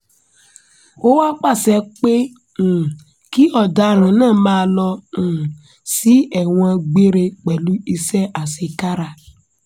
ó wàá pàṣẹ pé um kí ọ̀daràn náà máa lọ um sí ẹ̀wọ̀n gbére pẹ̀lú iṣẹ́ àṣekára